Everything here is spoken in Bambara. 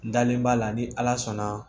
N dalen b'a la ni ala sɔnna